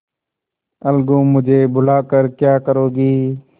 अलगूमुझे बुला कर क्या करोगी